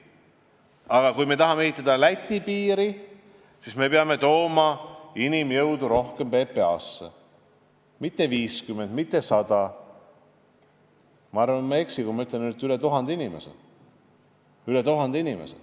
Aga kui me tahame sarnast piiri nagu Läti, siis me peame tooma rohkem inimjõudu PPA-sse, kusjuures mitte 50, mitte 100, vaid ma arvan, et ma ei eksi, kui ma ütlen, et üle 1000 inimese.